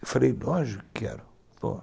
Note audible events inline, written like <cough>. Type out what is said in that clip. Eu falei, lógico que quero <unintelligible>